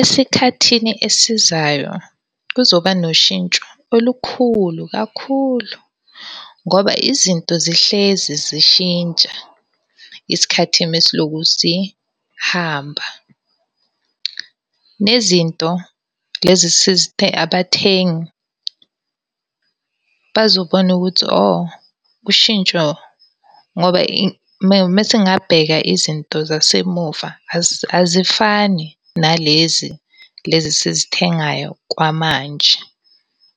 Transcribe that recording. Esikhathini esizayo kuzoba noshintsho olukhulu kakhulu ngoba izinto zihlezi zishintsha isikhathi uma siloku sihamba. Nezinto lezi abathengi bazobona ukuthi hho, ushintsho ngoba uma singabheka izinto zasemuva azifani nalezi, lezi esizithengayo kwamanje.